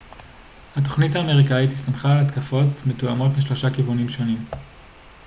התוכנית האמריקאית הסתמכה על התקפות מתואמות משלושה כיוונים שונים